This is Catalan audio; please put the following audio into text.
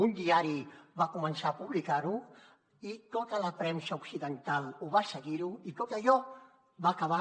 un diari va començar a publicar ho i tota la premsa occidental ho va seguir i tot allò va acabar